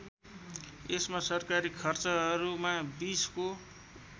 यसमा सरकारी खर्चहरूमा २० को